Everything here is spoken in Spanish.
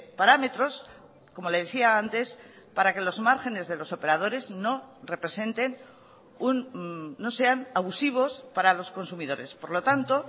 parámetros como le decía antes para que los márgenes de los operadores no representen no sean abusivos para los consumidores por lo tanto